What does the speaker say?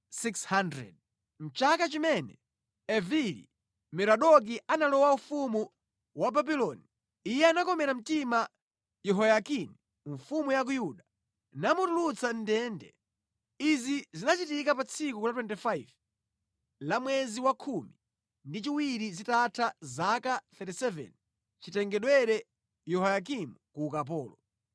Mʼchaka chimene Evili-Merodaki analowa ufumu wa Babuloni, iye anakomera mtima Yehoyakini mfumu ya ku Yuda, namutulutsa mʼndende. Izi zinachitika pa tsiku la 25 la mwezi wa khumi ndi chiwiri zitatha zaka 37 chitengedwere Yehoyakimu ku ukapolo.